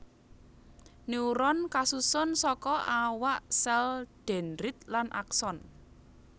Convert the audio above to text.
Neuron kasusun saka awak sèl dendrit lan akson